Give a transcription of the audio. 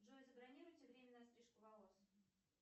джой забронируйте время на стрижку волос